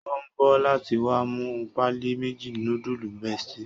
O n bọ láti wá mú páálí méjì nudulu bestie